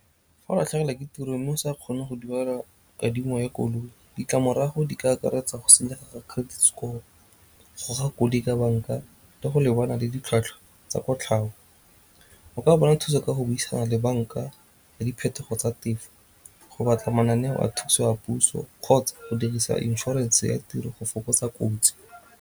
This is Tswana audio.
Fa o latlhegelwa ke tiro mme o sa kgone go duela kadimo ya koloi ditlamorago di ka akaretsa go senyegelwa credit score, go goga koloi ka banka, le go lebana le ditlhwatlhwa tsa kotlhao. O ka bona thuso ka go buisana le banka ya diphetogo tsa tefo, go batla mananeo a thuso ya puso kgotsa go dirisa inšorense ya tiro go fokotsa kotsi.